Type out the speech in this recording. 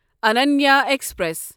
Ananya express